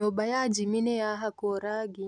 nyũmba ya jimmy nĩyahakũo rangi.